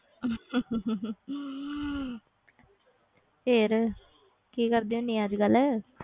ਫਿਰ ਕੀ ਕਰਦੀ ਹੁੰਦੀ ਆਂ ਅੱਜ ਕੱਲ੍ਹ।